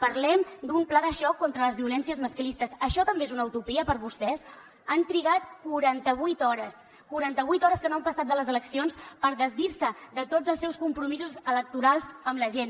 parlem d’un pla de xoc contra les violències masclistes això també és una utopia per vostès han trigat quaranta vuit hores quaranta vuit hores que no han passat de les eleccions per desdir se de tots els seus compromisos electorals amb la gent